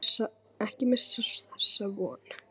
Ekki missa þessa von.